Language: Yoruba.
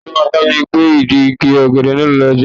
Ta ló máa bámi gbé ìdí ọ̀gẹ̀dẹ̀ náà lọ́jọ́ Ajé?